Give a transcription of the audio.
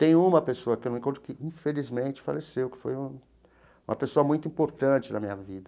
Tem uma pessoa que eu não encontro, que infelizmente faleceu, que foi uma uma pessoa muito importante na minha vida.